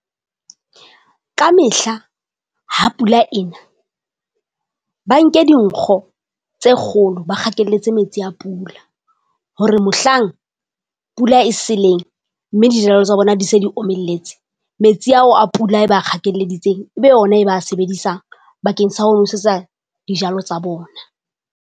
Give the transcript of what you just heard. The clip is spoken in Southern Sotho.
Ka mehla ha pula ena ba nke dinkgo tse kgolo, ba kgakelletse metsi a pula. hore mohlang pula e seleng, mme dijalo tsa bona di se di omelletse, metsi ao a pula e ba kgakelleditseng, e be ona e ba sebedisa bakeng sa ho nosetsa dijalo tsa bona.